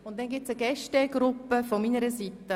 Weiter gibt es eine Gästegruppe von meiner Seite.